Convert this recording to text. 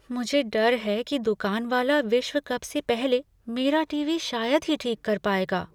मुझे डर है कि दुकान वाला विश्व कप से पहले मेरा टीवी शायद ही ठीक कर पाएगा।